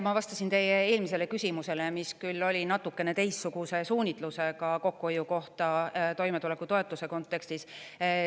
Ma vastasin teie eelmisele küsimusele, mis küll oli natukene teistsuguse suunitlusega kokkuhoiu kohta toimetulekutoetuse kontekstis.